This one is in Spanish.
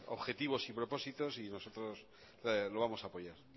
objetivos y propósitos y nosotros lo vamos a apoyar